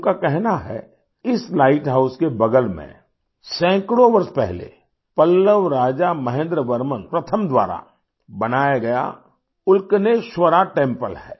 उनका कहना है कि इस लाइट हाउस के बगल में सैकड़ों वर्ष पहले पल्लव राजा महेंद्र वर्मन प्रथम द्वारा बनाया गया उल्कनेश्वरा टेम्पल है